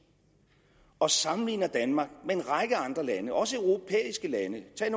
og sammenligner danmark med en række andre lande også europæiske lande tag